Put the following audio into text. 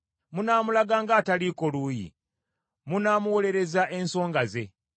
Munaamulaga ng’ataliiko luuyi, munaamuwoleza ensonga ze.